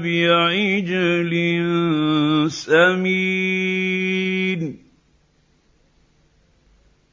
بِعِجْلٍ سَمِينٍ